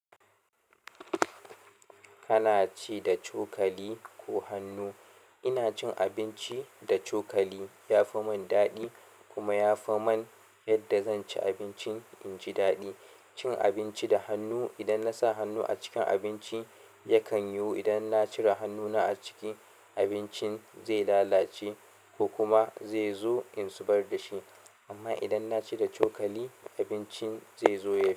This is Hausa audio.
Kana ci da cokali ko hannu? Ina cin abinci da cokali ya fi mun daɗi kuma ya fi mun yadda zan ci abincin inji daɗi. Cin abinci da hannu, idan na sa hannu a cikin abinci yakan yiwu idan na cire hannuna a ciki, abincin zai lalace ko kuma zai zo in zubar da shi. Amma idan na ci da cokali, abincin zai zo ya fi.